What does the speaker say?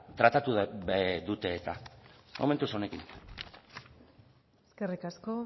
tratatu dute eta momentuz honekin eskerrik asko